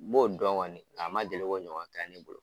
N b'o dɔn kɔni, a ma deli k'o ɲɔgɔn kɛ ne bolo.